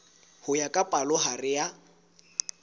ho ya ka palohare ya